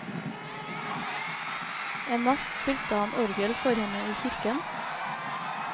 En natt spilte han orgel for henne i kirken.